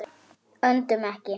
Öndum ekki.